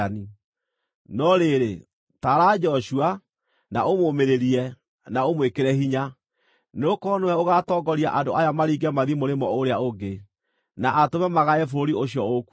No rĩrĩ, taara Joshua, na ũmũũmĩrĩrie, na ũmwĩkĩre hinya, nĩgũkorwo nĩwe ũgaatongoria andũ aya maringe mathiĩ mũrĩmo ũrĩa ũngĩ, na atũme magae bũrũri ũcio ũkuona.”